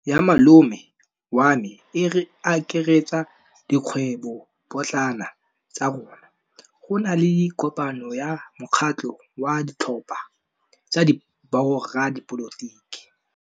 Kgwêbô ya malome wa me e akaretsa dikgwêbôpotlana tsa rona. Go na le kopanô ya mokgatlhô wa ditlhopha tsa boradipolotiki.